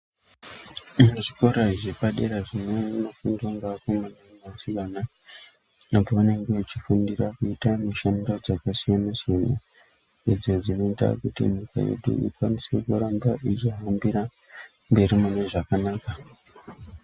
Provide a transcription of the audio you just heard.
Zvikora zvepadera zvinofundwa ngevakomana nevasikana apo pavanenge vechifundira kuite mishando dzakasiyana siyana idzo dzinoita kuti nyika yedu irambe yeihambira mberi mune zvakanaka.